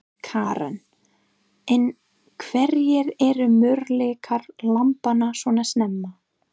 Karen: En hverjir eru möguleikar lambanna svona snemma?